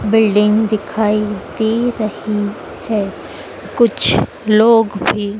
building दिखाई दे रही है कुछ लोग भी--